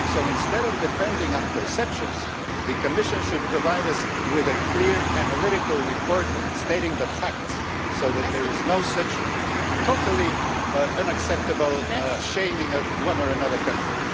So, instead of depending on perceptions, the Commission should provide us with a clear, analytical report stating the facts, so that there is no such totally unacceptable shaming of one or another country.